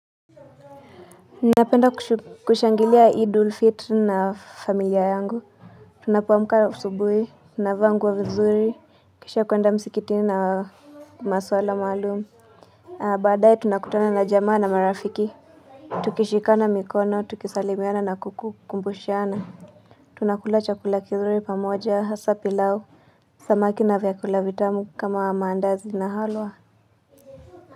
Napenda kushangilia idul fitr na familia yangu. Tunapoamka asubuhi, tunavaa nguo vizuri, kisha kuenda msikitini na maswala maalumu. Baadae tunakutana na jamaa na marafiki. Tukishikana mikono, tukisalimiana na kukumbushana. Tunakula chakula kizuri pamoja, hasa pilau. Samaki na vyakula vitamu kama wa maandazi na halwa.